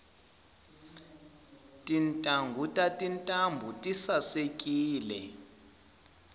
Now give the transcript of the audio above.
tintanghu ta tintambu tisaekile